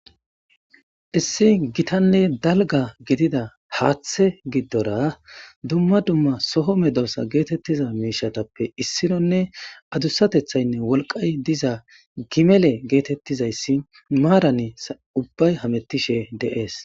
Issi gittane daliga gidida hathe giidora duma duma medosa getetida mishetape issnonee adusatethayinee woliqay diza gimele getetizays maranini ubayi hametishe de'es